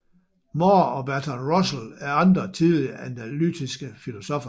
Moore og Bertrand Russell er andre tidlige analytiske filosoffer